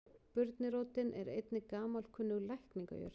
Burnirótin er einnig gamalkunnug lækningajurt.